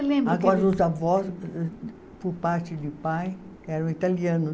Agora, os avós, por parte de pai, eram italianos.